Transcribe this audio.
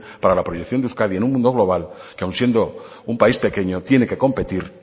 para la proyección de euskadi en un mundo global que aun siendo un país pequeño tiene que competir